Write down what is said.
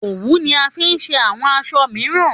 Òwú ni a fi ṣe àwọn aṣọ mìíràn